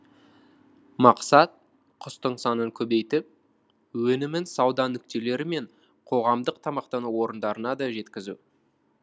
мақсат құстың санын көбейтіп өнімін сауда нүктелері мен қоғамдық тамақтану орындарына да жеткізу